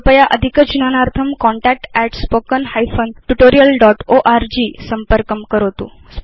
कृपया अधिकज्ञानार्थं contactspoken hyphen tutorial dot org संपर्कं करोतु